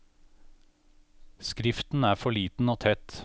Skriften er for liten og tett.